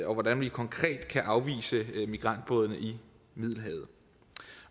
og hvordan vi konkret kan afvise migrantbådene i middelhavet